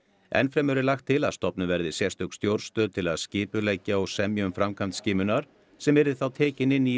enn fremur er lagt til að stofnuð verði sérstök stjórnstöð til að skipuleggja og semja um framkvæmd skimunar sem yrði þá tekin inn í